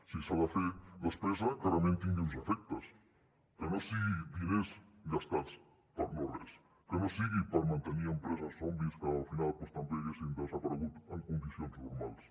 si s’ha de fer despesa que realment tingui uns efectes que no siguin diners gastats per a no res que no sigui per mantenir empreses zombis que al final doncs també haguessin desaparegut en condicions normals